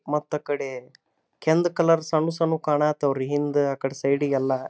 ಮತ್ತ್ ಅಕ್ಕಡ ಕೆಂದ್ ಕೆಂದ್ ಸಣ್ಣ ಸಣ್ಣ ಕಾಣಯೋಥೆ ರೀ ಹಿಂದೆ ಅಕ್ಕಡೆ ಸೈಡ್ ಎಲ್ಲ.